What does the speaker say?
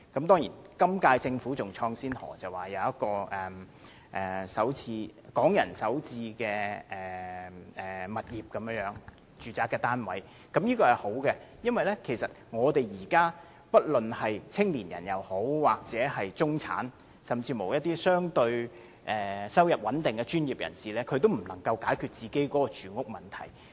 當然，今屆政府更開創先河，推出港人首次置業的住宅單位，我認為這項計劃很好，因為現時不論是年青人或中產人士，甚至一些收入相對穩定的專業人士，也不能夠解決住屋問題。